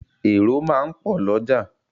Èrò máà ń pò l'ójà